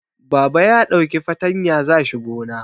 Baba ya ɗauki fatanya za shi gona